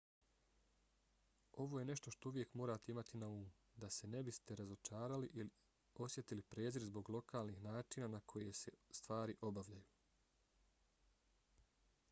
ovo je nešto što uvijek morate imati na umu da se ne biste razočarali ili osjetili prezir zbog lokalnih načina na koje se stvari obavljaju